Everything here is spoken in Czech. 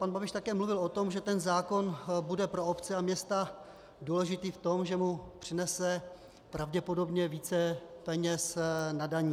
Pan Babiš také mluvil o tom, že ten zákon bude pro obce a města důležitý v tom, že mu přinese pravděpodobně více peněz na daních.